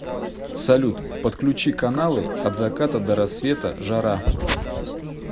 салют подключи каналы от заката до рассвета жара